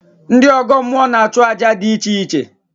Ndị ọgọ mmụọ na-achụ àjà dị iche iche